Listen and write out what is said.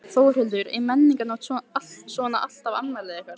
Þórhildur: Er Menningarnótt svona alltaf afmælið ykkar?